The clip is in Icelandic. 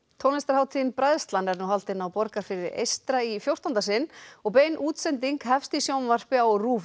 tónlistarhátíðin Bræðslan er nú haldin á Borgarfirði eystra í fjórtánda sinn og bein útsending hefst í sjónvarpi á RÚV